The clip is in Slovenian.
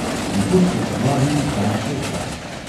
Nekoč sta se dva Ribničana srečala.